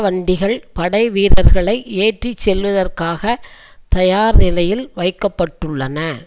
வண்டிகள் படை வீரர்களை ஏற்றி செல்வதற்காக தயார் நிலையில் வைக்க பட்டுள்ளன